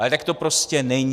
Ale tak to prostě není.